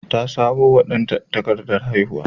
Ta samo wa danta takardar haihuwa.